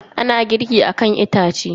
Ana girki akan itace.